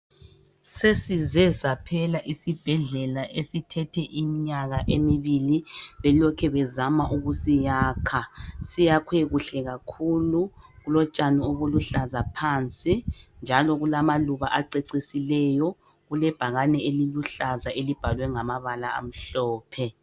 Sesize saphela isibhedlela esithethe iminyaka emibili belokhe bezama ukusiyakha. Siyakhwe kuhle kakhulu kulotshani obuluhlaza phansi njalo kulamaluba acecisileyo. Kulebhakane eliluhlaza elibhalwe ngamabala amhlophe.